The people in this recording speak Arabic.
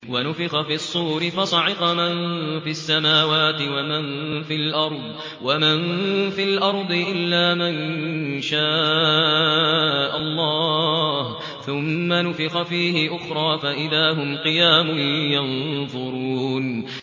وَنُفِخَ فِي الصُّورِ فَصَعِقَ مَن فِي السَّمَاوَاتِ وَمَن فِي الْأَرْضِ إِلَّا مَن شَاءَ اللَّهُ ۖ ثُمَّ نُفِخَ فِيهِ أُخْرَىٰ فَإِذَا هُمْ قِيَامٌ يَنظُرُونَ